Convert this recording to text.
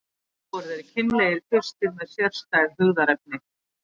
Flestir voru þeir kynlegir kvistir með sérstæð hugðarefni.